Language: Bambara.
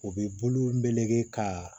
U bɛ bolo meleke ka